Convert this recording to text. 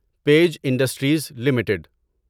page Industries limited